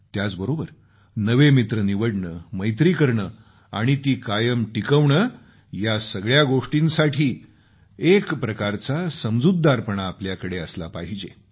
त्याचबरोबर नवे मित्र निवडणे मैत्री करणे आणि ती कायम टिकवणे या सगळ्या गोष्टींसाठी एकप्रकारचा समुजतदारपणा आपल्याकडे असला पाहिजे